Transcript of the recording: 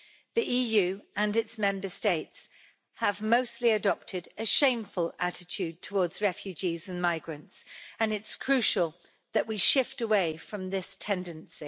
The EU and its Member States have mostly adopted a shameful attitude towards refugees and migrants and it's crucial that we shift away from this tendency.